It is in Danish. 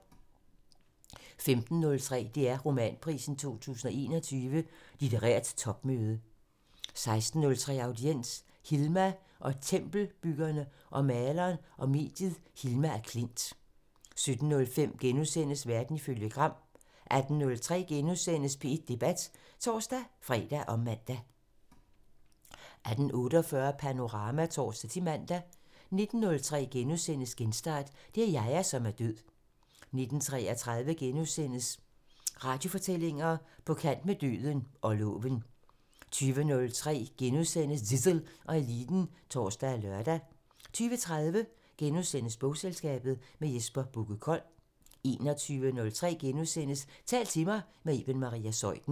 15:03: DR Romanprisen 2021 – Litterært topmøde 16:03: Audiens: Hilma og tempelbyggerne- om maleren og mediet Hilma af Klint 17:05: Verden ifølge Gram * 18:03: P1 Debat *(tor-fre og man) 18:48: Panorama (tor-man) 19:03: Genstart: Det er Yahya, som er død * 19:33: Radiofortællinger: På kant med døden – og loven * 20:03: Zissel og Eliten *(tor og lør) 20:30: Bogselskabet – med Jesper Bugge Kold * 21:03: Tal til mig – med Iben Maria Zeuthen *